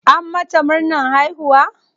An mata murnan haihuwa?